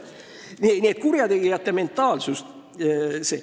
Nii et selline on kurjategijate mentaliteet.